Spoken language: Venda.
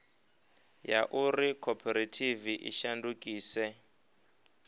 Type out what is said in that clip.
ya uri khophorethivi i shandukise